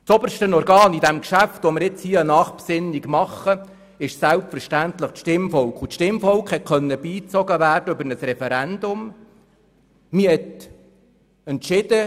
Das oberste Organ in besagtem Geschäft ist selbstverständlich das Stimmvolk, und dieses konnte über ein Referendum beigezogen werden.